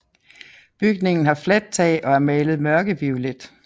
Bygningen har fladt tag og er malet mørkeviolet